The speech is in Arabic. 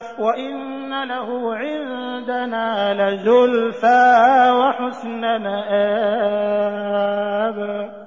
وَإِنَّ لَهُ عِندَنَا لَزُلْفَىٰ وَحُسْنَ مَآبٍ